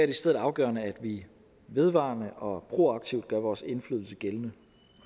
i stedet afgørende at vi vedvarende og proaktivt gør vores indflydelse gældende